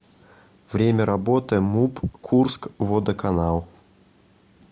время работы муп курскводоканал